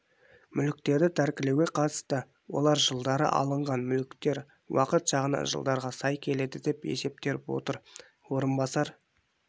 мүліктерді тәркілеуге қатысты олар жылдары алынған мүліктер уақыт жағынан жылдарға сай келеді деп есептеп отыр орынбар